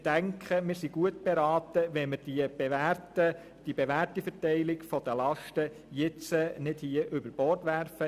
Ich denke, wir sind gut beraten, wenn wir die bewährte Verteilung der Lasten nicht über Bord werfen.